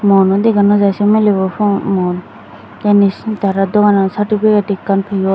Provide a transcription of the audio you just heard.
muono dega no jaai se milebo mu muon tey indi tara dogano sertifiket ekkan peyon.